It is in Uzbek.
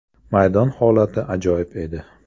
Maydon holati ajoyib edi.